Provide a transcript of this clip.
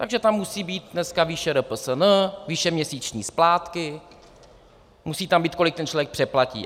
Takže tam musí být dneska výše RPSN, výše měsíční splátky, musí tam být, kolik ten člověk přeplatí.